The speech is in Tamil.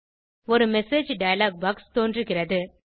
ஒரு மெசேஜ் டயலாக் பாக்ஸ் தோன்றுகிறது